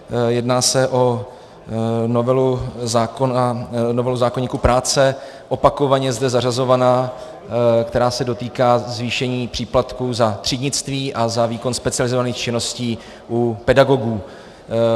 Jedná se o novelu zákoníku práce, opakovaně zde zařazovanou, která se dotýká zvýšení příplatků za třídnictví a za výkon specializovaných činností u pedagogů.